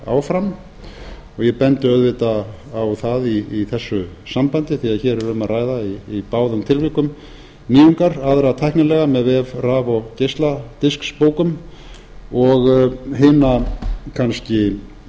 og ég bendi auðvitað á það í þessu sambandi því að hér er um að ræða í báðum tilvikum nýjungar aðra tæknilega með vef raf og geisladiskabókum og hina kannski